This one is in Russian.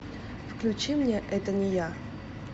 включи мне это не я